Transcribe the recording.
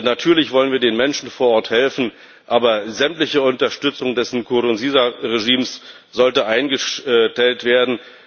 Natürlich wollen wir den Menschen vor Ort helfen, aber sämtliche Unterstützung des Nkurunziza Regimes sollte eingestellt werden.